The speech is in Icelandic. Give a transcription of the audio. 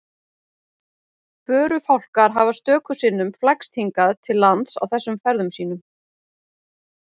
Förufálkar hafa stöku sinnum flækst hingað til lands á þessum ferðum sínum.